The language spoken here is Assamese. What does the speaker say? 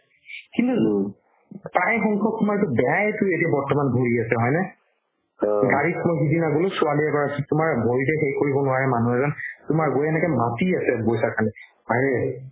কিন্তু প্ৰায় সংখ্যাক তুমাৰ এইটো বেয়াইতো এতিয়া ভৰি আছে হয় নে গাড়ী মই সেইদিনা গ'লো ছোৱালি এগৰাকি তুমাৰ ভৰিতে সেই কৰিব নোৱাৰে মানুহ এজন তুমাৰ মাখি আছে পইচাৰ কাৰণে আৰে